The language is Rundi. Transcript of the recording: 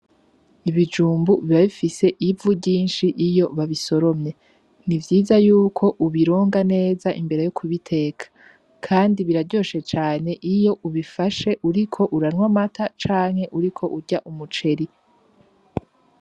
Ibijumbu biba bifise ivu ryinshi iyo babisoromye, n'ivyiza yuko ubironga neza imbere yo kubiteka. Kandi biraryoshe cane iyo ubifashe uriko uranywa amata canke uriko urarya umuceri.